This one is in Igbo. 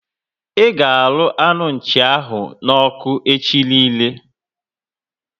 I ga arụ anu Nchi ahụ n'oku echi niile